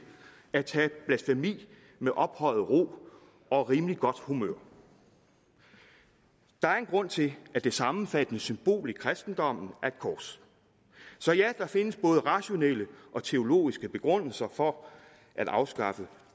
at tage blasfemi med ophøjet ro og rimeligt godt humør der er en grund til at det sammenfattende symbol i kristendommen er et kors ja der findes både rationelle og teologiske begrundelser for at afskaffe